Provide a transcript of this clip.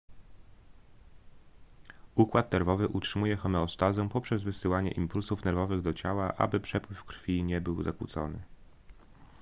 układ nerwowy utrzymuje homeostazę poprzez wysyłanie impulsów nerwowych do ciała aby przepływ krwi nie był zakłócony